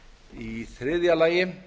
í þriðja lagi